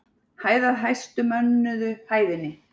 Hæð að hæstu mönnuðu hæðinni.